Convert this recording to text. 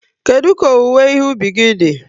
Kedu ka owuwe ìhè ubi gi dị?